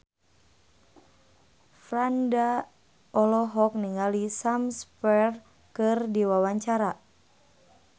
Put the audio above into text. Franda olohok ningali Sam Spruell keur diwawancara